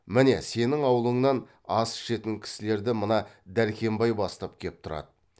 міне сенің аулыңнан ас ішетін кісілерді мына дәркембай бастап кеп тұрады